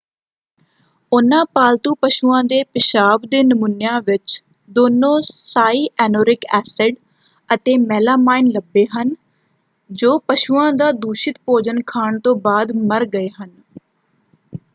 ਉਹਨਾਂ ਪਾਲਤੂ ਪਸ਼ੂਆਂ ਦੇ ਪਿਸ਼ਾਬ ਦੇ ਨਮੂਨਿਆਂ ਵਿੱਚ ਦੋਨੋਂ ਸਾਇਐਨੂਰਿਕ ਐਸਿਡ ਅਤੇ ਮੈਲਾਮਾਈਨ ਲੱਭੇ ਹਨ ਜੋ ਪਸ਼ੂਆਂ ਦਾ ਦੂਸ਼ਿਤ ਭੋਜਨ ਖਾਣ ਤੋਂ ਬਾਅਦ ਮਰ ਗਏ ਹਨ।